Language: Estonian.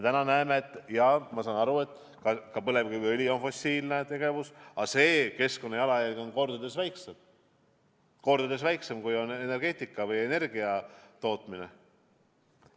Ma saan aru, et ka põlevkiviõli tootmine on fossiilse kütuse kasutamine, aga selle jalajälg keskkonnas on kordades väiksem kui energia tootmisel.